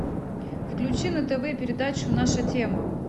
включи на тв передачу наша тема